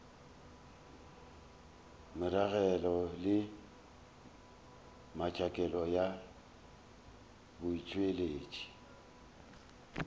meragelo le metšhakelo ya botšweletši